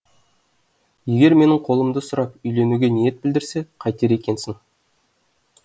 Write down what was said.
егер менің қолымды сұрап үйленуге ниет білдірсе қайтер екенсің